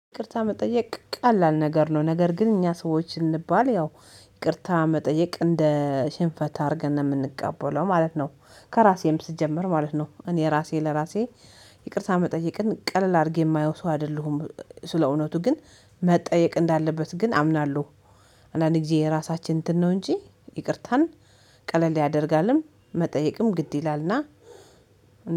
ይቅርታ መጠየቅ ቀላል ነገር ነው ነገር ግን እኛ ሰዎች ስንባል ያው ይቅርታ መጠየቅ እንደ ሽንፈት አድርገን ነው የምንቀበለው ማለት ነው። ከራሴም ስጀምር ማለት ነው እኔ ራሴ ለራሴ ይቅርታ መጠየቅን ቀለል አድርጌ የማየው ሰው አይደለሁም። ስለእውነቱ ግን መጠየቅ እንዳለበት ግን አምናለሁ። አንዳንዴ ጊዜ የራሳችን እንትን ነው እንጂ ይቅርታን ቀለል ያደርጋልም መጠየቅም ግድ ይላልና።